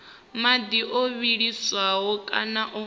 madi o vhiliswaho kana o